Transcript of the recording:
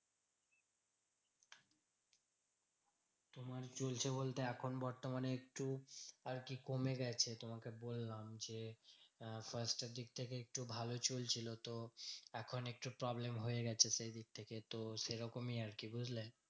মানে চলছে বলতে এখন বর্তমানে একটু আরকি কমে গেছে। তোমাকে বললাম যে, আহ first এর দিক থেকে একটু ভালো চলছিল তো এখন একটু problem হয়ে গেছে সেইদিক থেকে। তো সেরকমই আরকি বুঝলে?